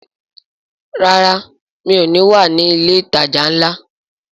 Rárá, mi ò ní wà ní ilé ìtajà ńlá